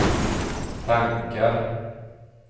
tankar